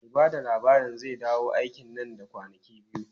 Mai ba da labarin zai dawo aiki nan da kwanaki biyu.